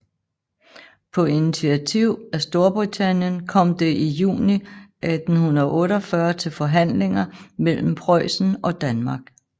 På initiativ af Storbritannien kom det i juni 1848 til forhandlinger mellem Preussen og Danmark